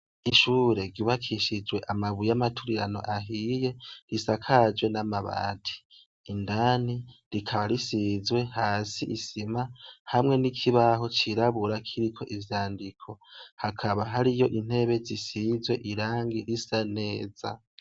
Ishure ryubakishijwe amabuye y'amaturirano ahiye, isakajwe n'amabati indani rikaba risizwe, hasi isima hamwe n'ikibaho c'irabura kiriko ivyandiko hakaba hariyo intebe zisizwe irangi risa neza.